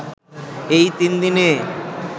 এই তিনদিনে